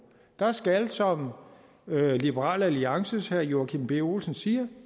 der skal som liberal alliances herre joachim b olsens siger